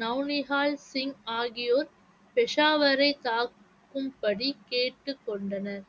now Nihal Singh ஆகியோர் பெஷாவரை தாக்கும்படி கேட்டுக் கொண்டனர்